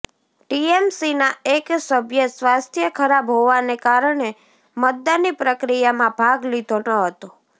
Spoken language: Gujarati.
ટીએમસીના એક સભ્યે સ્વાસ્થ્ય ખરાબ હોવાને કારણે મતદાનની પ્રક્રિયામાં ભાગ લીધો ન હતો